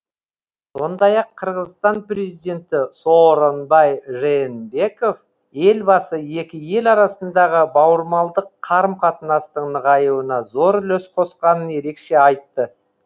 сондай ақ қырғызстан президенті сооронбай жээнбеков елбасы екі ел арасындағы бауырмалдық қарым қатынастың нығаюына зор үлес қосқанын ерекше айтты